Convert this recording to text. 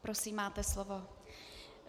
Prosím, máte slovo.